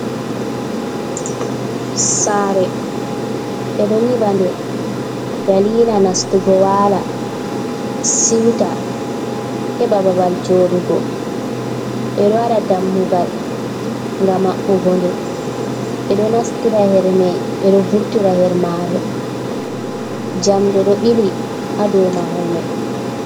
Sare ɓeɗo nyiɓa nɗe dalila nastugo wala siwta, heɓa babal joɗugo ɓeɗo waɗa dammugal gam maɓɓugo nde ɓeɗo nastira her mai ɓeɗo vurtira her mare, jamɗe ɗo ɓili ha dow mahol mai.